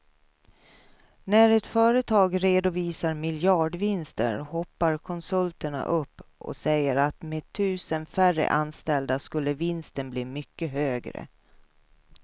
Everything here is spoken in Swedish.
När ett företag redovisar miljardvinster hoppar konsulterna upp och säger att med tusen färre anställda skulle vinsten bli mycket högre.